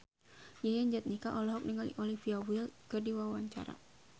Yayan Jatnika olohok ningali Olivia Wilde keur diwawancara